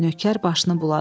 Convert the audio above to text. Nökər başını buladı.